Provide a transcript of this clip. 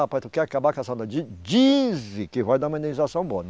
Rapaz, tu quer acabar com essa. Dizem que vai dar uma indenização boa.